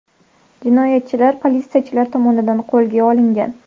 Jinoyatchi politsiyachilar tomonidan qo‘lga olingan.